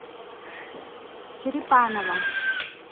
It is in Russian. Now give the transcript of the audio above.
черепанова